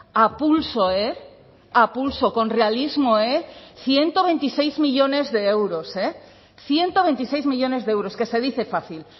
a pulso eh a pulso con realismo eh ciento veintiséis millónes de euros eh ciento veintiséis millónes de euros que se dice fácil